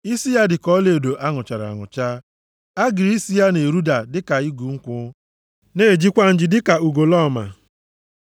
Isi ya dịka ọlaedo a nụchara anụcha, agịrị isi ya na-eruda dịka igu nkwụ, na-ejikwa nji dịka ugolọma.